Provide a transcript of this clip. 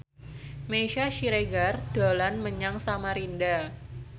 Meisya Siregar dolan menyang Samarinda